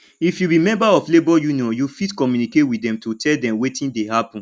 if you be member of labour union you fit communicate with dem to tell dem wetin dey happen